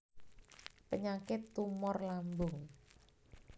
Penyakit tumor lambung